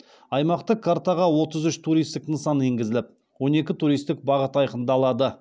аймақтық картаға отыз үш туристік нысан енгізіліп он екі туристік бағыт айқындалады